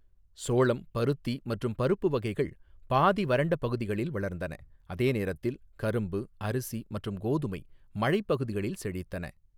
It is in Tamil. சோளம், பருத்தி மற்றும் பருப்பு வகைகள் பாதி வறண்ட பகுதிகளில் வளர்ந்தன, அதே நேரத்தில் கரும்பு, அரிசி மற்றும் கோதுமை மழை பகுதிகளில் செழித்தன.